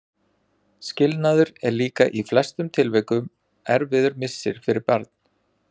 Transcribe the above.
Skilnaður er líka í flestum tilvikum erfiður missir fyrir barn.